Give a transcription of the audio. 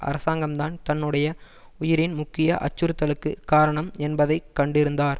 அரசாங்கம்தான் தன்னுடைய உயிரின் முக்கிய அச்சுறுத்தலுக்கு காரணம் என்பதை கண்டிருந்தார்